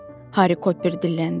Harry Cooper dilləndi.